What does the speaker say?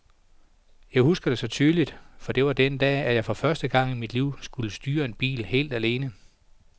Jeg husker det så tydeligt, for det var den dag, at jeg for første gang i mit liv skulle styre en bil helt alene.